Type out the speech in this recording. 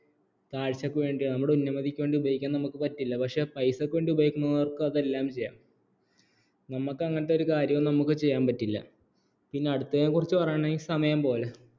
കാഴ്ചയ്ക്ക് വേണ്ടിയാ നമ്മുടെ ഉന്നമതിക്ക് വേണ്ടി ഉപയോഗിക്കാൻ നമുക്ക് പറ്റില്ല പക്ഷേ പൈസയ്ക്ക് വേണ്ടി ഉപയോഗിക്കുന്നവർക്ക് അതെല്ലാം ചെയ്യാം നമുക്ക് അങ്ങനത്തെ ഒരു കാര്യം ഒന്നും നമുക്ക് ചെയ്യാൻ പറ്റില്ല പിന്നെ അടുത്തതിനെക്കുറിച്ച് പറയുകയാണെങ്കിൽ സമയം പോലെ